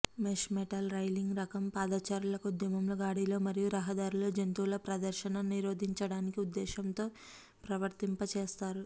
mesh metal railing రకం పాదచారులకు ఉద్యమం గాడిలో మరియు రహదారిలో జంతువుల ప్రదర్శన నిరోధించడానికి ఉద్దేశ్యంతో వర్తింపచేస్తారు